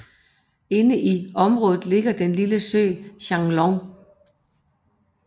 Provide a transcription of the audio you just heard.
Inde i området ligger den lille sø Xianglong